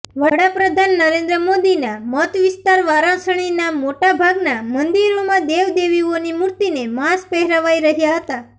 વડા પ્રધાન નરેન્દ્ર મોદીના મતવિસ્તાર વારાણસીનાં મોટા ભાગનાં મંદિરોમાં દેવદેવીઓની મૂર્તિેને માસ્ક પહેરાવાઇ રહ્યાં હતાં